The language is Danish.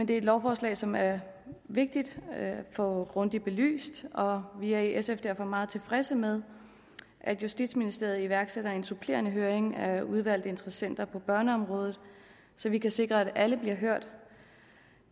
det er et lovforslag som er vigtigt at få grundigt belyst og vi er i sf derfor meget tilfredse med at justitsministeriet iværksætter en supplerende høring af udvalgte interessenter på børneområdet så vi kan sikre at alle bliver hørt